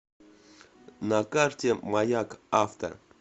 на карте маяк авто